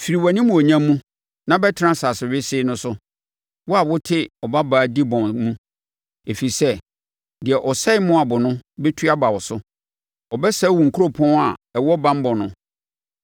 “Firi wʼanimuonyam mu, na bɛtena asase wesee no so, wo a wote Ɔbabaa Dibon mu, ɛfiri sɛ deɛ ɔsɛe Moab no bɛtu aba wo so; abɛsɛe wo nkuropɔn a ɛwɔ banbɔ no.